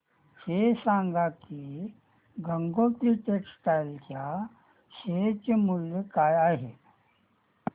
हे सांगा की गंगोत्री टेक्स्टाइल च्या शेअर चे मूल्य काय आहे